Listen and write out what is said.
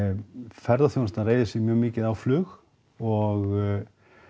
ferðaþjónustan reiðir sig mjög mikið á flug og